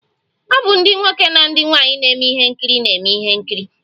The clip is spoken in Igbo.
O bụ ndi nwoke na nwaanyi na eme ihe nkiri na-eme ihe nkiri